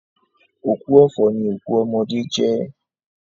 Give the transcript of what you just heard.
Òkú ọ̀fọ̀ ni òkú ọmọdé jẹ́